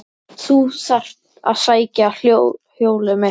Ég þarf að sækja hjólið mitt.